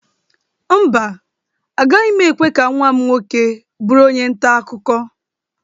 Mba, agaghị m ekwe ka nwa m nwoke bụrụ onye nta akụkọ